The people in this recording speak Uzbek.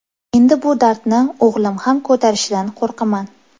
Endi bu dardni o‘g‘lim ham ko‘tarishidan qo‘rqaman.